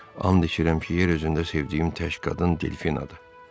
“And içirəm ki, yer üzündə sevdiyim tək qadın Delfinadır.